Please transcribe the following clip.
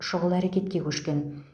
шұғыл әрекетке көшкен